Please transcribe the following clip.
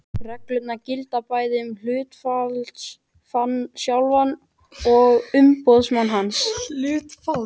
Reglan gildir bæði um hluthafann sjálfan og umboðsmann hans.